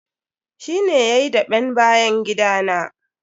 Shi ne yayi daɓen bayan gida na.